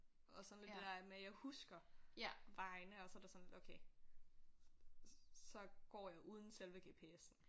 Og sådan lidt det der med jeg husker vejen og så er det sådan lidt okay så går jeg uden selve GPS'en